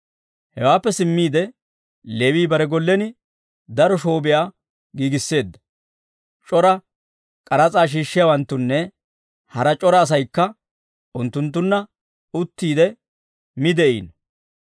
Hewaappe simmiide Leewii bare gollen daro shoobiyaa giigisseedda; c'ora k'aras'aa shiishshiyaawanttunne hara c'ora asaykka unttunttunna uttiide mi de'iino.